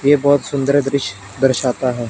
ये बहोत सुंदर दृश्य दर्शाता है।